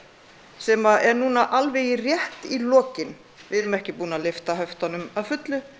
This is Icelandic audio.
sem er núna alveg rétt í lokin við erum ekki búin að lyfta höftunum að fullu